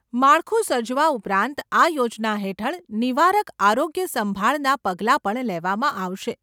માળખું સર્જવા ઉપરાંત આ યોજના હેઠળ નિવારક આરોગ્ય સંભાળના પગલાં પણ લેવામાં આવશે.